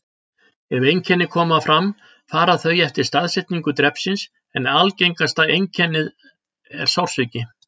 Ef einkenni koma fram fara þau eftir staðsetningu drepsins, en algengasta einkenni er sársauki.